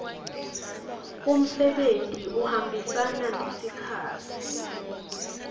umsebenti uhambisana nesikhatsi